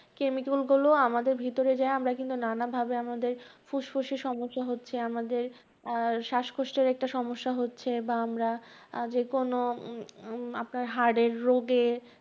chemical গুলো আমাদের ভিতরে যাইয়া আমরা কিন্তু নানাভাবে আমাদের ফুসফুসে সমস্যা হচ্ছে আমাদের আহ শ্বাসকষ্টের একটা সমস্যা হচ্ছে, বা আমরা যে কোনো উম আপনার heart এর রোগে